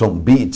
Sombeat.